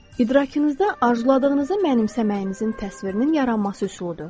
İdrakinizdə arzuladığınızı mənimsəməyinizin təsvirinin yaranması üsuludur.